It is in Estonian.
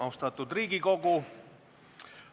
Austatud Riigikogu!